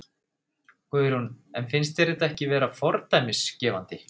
Guðrún: En finnst þér þetta ekki vera fordæmisgefandi?